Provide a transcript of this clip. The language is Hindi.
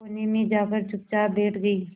कोने में जाकर चुपचाप बैठ गई